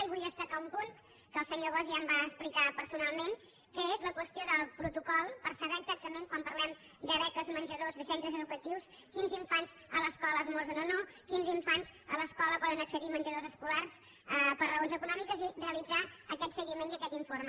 i vull destacar un punt que el senyor bosch ja em va explicar personalment que és la qüestió del protocol per saber exactament quan parlem de beques menjador de centres educatius quins infants a l’escola esmorzen o no i quins infants a l’escola poden accedir a menjadors escolars per raons econòmiques i realitzar aquest seguiment i aquest informe